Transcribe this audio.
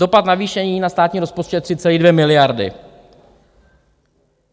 Dopad navýšení na státní rozpočet 3,2 miliardy.